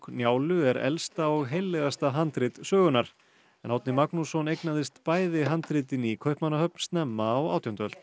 Njálu er elsta og heillegasta handrit sögunnar Árni Magnússon eignaðist bæði handritin í Kaupmannahöfn snemma á átjándu öld